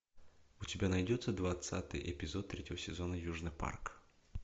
у тебя найдется двадцатый эпизод третьего сезона южный парк